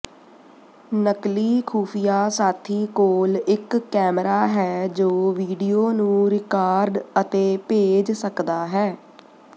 ਨਕਲੀ ਖੁਫੀਆ ਸਾਥੀ ਕੋਲ ਇੱਕ ਕੈਮਰਾ ਹੈ ਜੋ ਵੀਡੀਓ ਨੂੰ ਰਿਕਾਰਡ ਅਤੇ ਭੇਜ ਸਕਦਾ ਹੈ